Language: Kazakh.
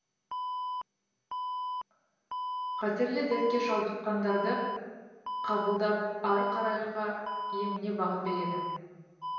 қатерлі дертке шалдыққандарды қабылдап ары қарайғы еміне бағыт береді